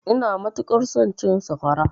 Ina matuƙar son cin sakwara.